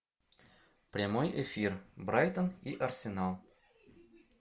прямой эфир брайтон и арсенал